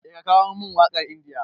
Eh ka kawo min waƙar India.